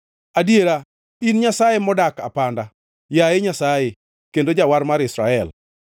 Adiera in Nyasaye modak apanda, yaye Nyasaye kendo Jawar mar Israel.